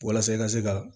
Walasa i ka se ka